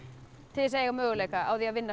til þess að eiga möguleika á að vinna